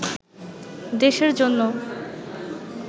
দেশের জন্য